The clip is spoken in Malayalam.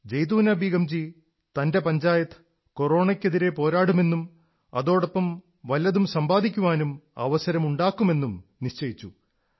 ജൈതൂനാ ബീഗംജി തന്റെ പഞ്ചായത്ത് കൊറോണയ്ക്കെതിരെ പോരാടുമെന്നും അതോടൊപ്പം വല്ലതും സമ്പാദിക്കാനും അവസരമുണ്ടാക്കുമെന്നും നിശ്ചയിച്ചു